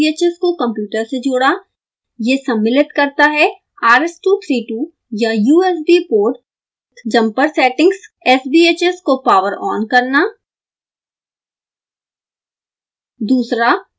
पहला sbhs को computer से जोड़ा यह सम्मिलित करता है rs232 या usb port jumper settings sbhs को पॉवर ऑन करना